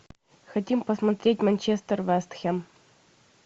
хотим посмотреть манчестер вест хэм